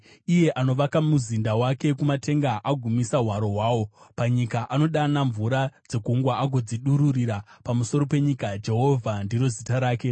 iye anovaka muzinda wake kumatenga agomisa hwaro hwawo panyika, anodana mvura dzegungwa agodzidururira pamusoro penyika, Jehovha ndiro zita rake.